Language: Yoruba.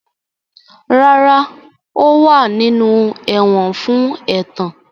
Rara, o wa ninu ẹwọn fun ẹtan.